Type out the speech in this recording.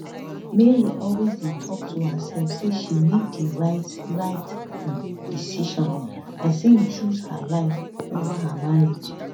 mary always dey tok to hersef say she make di right right um decision as im choose her life ova her marriage